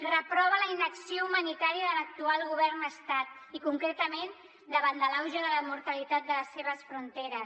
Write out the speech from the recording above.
reprova la inacció humanitària de l’actual govern de l’estat i concretament davant de l’auge de la mortalitat de les seves fronteres